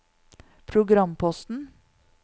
programposten